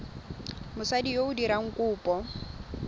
mosadi yo o dirang kopo